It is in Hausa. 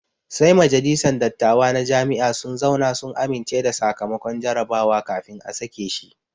Sai majalisan dattawa na Jami'a sun zauna sun amince da sakamakon jarabawa kafin a sake shi